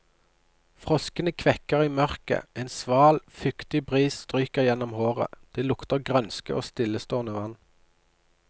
Froskene kvekker i mørket, en sval, fuktig bris stryker gjennom håret, det lukter grønske og stillestående vann.